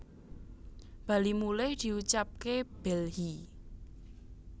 bali mulih diucapke bhelhi